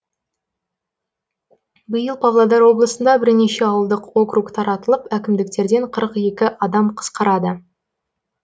биыл павлодар облысында бірнеше ауылдық округ таратылып әкімдіктерден қырық екі адам қысқарады